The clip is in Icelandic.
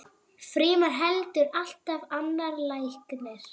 Frímann heldur allt annar læknir.